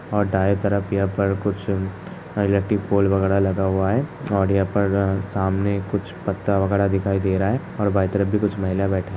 और दाएं तरफ यहां पर कुछ इलेक्ट्रिक पोल वगैरह लगा हुआ है और यहां पर सामने कुछ पत्ता वगैरह दिखाई दे रहा है और बाएं तरफ कुछ महिलाएं बै --